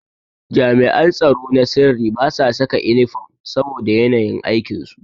Jami'an tsaro na sirri basu saka inifom saboda yanayin aikin su.